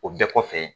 O bɛɛ kɔfɛ